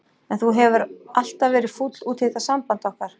En þú hefur alltaf verið fúll út í þetta samband okkar.